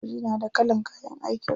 Sojoji na da kalan kayan aikin su.